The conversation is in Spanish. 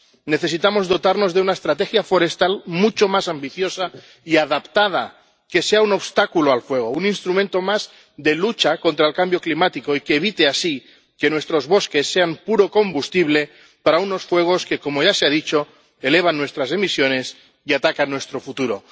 Necesitamos dotarnos de una estrategia forestal mucho más ambiciosa y adaptada que sea un obstáculo al fuego, un instrumento más de lucha contra el cambio climático, y que evite así que nuestros bosques sean puro combustible para unos fuegos que, como ya se ha dicho, elevan nuestras emisiones y atacan nuestro futuro.